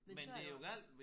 Men så er det jo